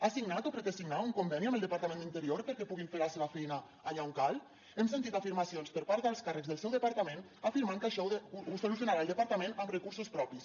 ha signat o pretén signar un conveni amb el departament d’interior perquè puguin fer la seva feina allà on cal hem sentit afirmacions per part d’alts càrrecs del seu departament afirmant que això ho solucionarà el departament amb recursos propis